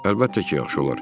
Əlbəttə ki, yaxşı olar.